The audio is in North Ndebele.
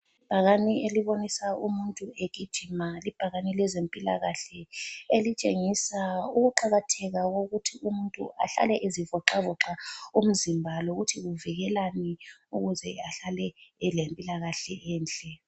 Ibhakane elibonisa umuntu egijima libhakane lezempilakahle elitshengisa ukuqakatheka kokuthi umuntu ahlale ezivoxavoxa umzimba lokuthi kuvikelani ukuze ahlale elempilakahle enhle.